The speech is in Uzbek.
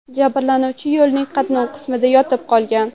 Jabrlanuvchi yo‘lning qatnov qismida yotib qolgan.